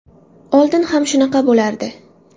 Oldin ham shunaqa bo‘lardi.